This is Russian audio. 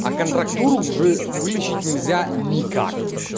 а контрактуру уже вылечить нельзя никак